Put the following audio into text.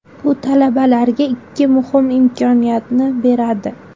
Bu talabalarga ikki muhim imkoniyatni beradi.